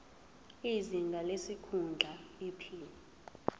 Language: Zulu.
izinga lesikhundla iphini